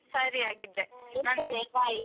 ಸರಿ ಹಾಗಿದ್ರೆ.